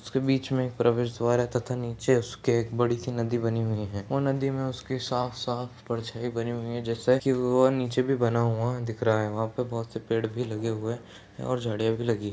उसके बीच में प्रवेश द्वार है तथा उसके नीचे उसके एक बड़ी-सी नदी बनी हुई है ओ नदी में उसके साफ-साफ परछाई बनी हुई है जैसा की वो और नीचे भी बना हुआ दिख रहा है वहाँ पे बहोत से पेड़ भी लगे हुए हैं और झाड़ियाँ भी लगी --